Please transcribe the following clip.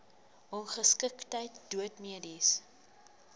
ongeskiktheid dood mediese